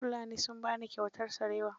Fulanin sun ba ni kyautar sarewa.